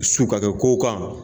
Su ka kɛ ko kan.